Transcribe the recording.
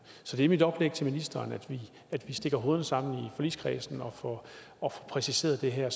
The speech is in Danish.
så det er mit oplæg til ministeren altså at vi stikker hovederne sammen i forligskredsen og får præciseret det her